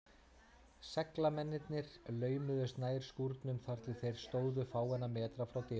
Seglamennirnir laumuðust nær skúrnum, þar til þeir stóðu fáeina metra frá dyrunum.